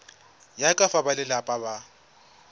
ya ka fa balelapa ba